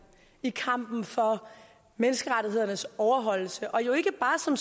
i kampen for menneskerettighedernes overholdelse og jo ikke bare som